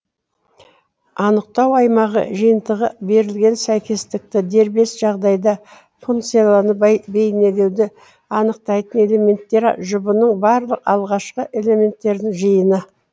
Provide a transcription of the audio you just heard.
анықтау аймағы жиынтығы берілген сәйкестікті дербес жағдайда функциялыны бейнелеуді анықтайтын элементтер жұбының барлық алғашқы элементтерінің жиыны